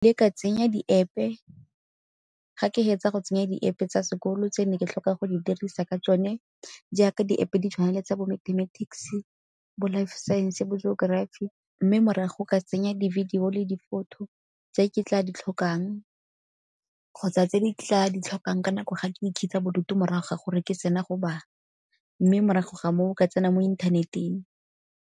Le ka tsenya di-App-e, ga ke hetsa go tsenya di-App-e tsa sekolo tse ne ke tlhoka go di dirisa ka tsone jaaka di-App-e di tshwana le tsa bo mathematics-e, bo life science, bo geography. Mme morago ka tsenya di-video le di-photo tse ke tla ditlhokang kgotsa tse di tla di tlhokang ka nako ga ke ikhutsa bodutu morago ga gore ke sena go bala, mme morago ga moo ka tsena mo inthaneteng.